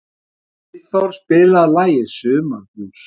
Friðþór, spilaðu lagið „Sumarblús“.